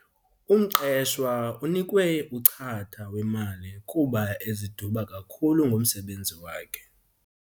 Umqeshwa unikwe uchatha wemali kuba eziduba kakhulu ngomsebenzi wakhe.